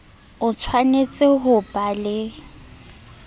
o tshwanetse ho ba le